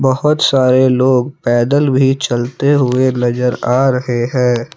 बहुत सारे लोग पैदल भी चलते हुए नजर आ रहे हैं।